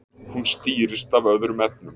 Hún stýrist af öðrum efnum.